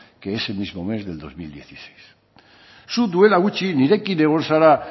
que ese mismo mes del dos mil dieciséis zuk duela gutxi nirekin egon zara